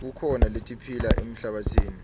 kukhona letiphila emhlabatsini